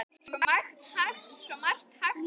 Þetta er mestan part ufsi